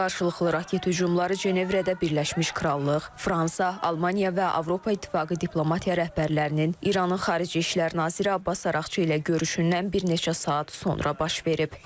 Qarşılıqlı raket hücumları Cenevrədə Birləşmiş Krallıq, Fransa, Almaniya və Avropa İttifaqı diplomatiya rəhbərlərinin İranın Xarici İşlər naziri Abbas Araqçı ilə görüşündən bir neçə saat sonra baş verib.